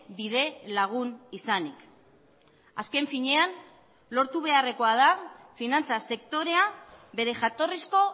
bide lagun izanik azken finean lortu beharrekoa da finantza sektorea bere jatorrizko